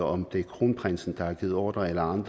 om det er kronprinsen der har givet ordre eller om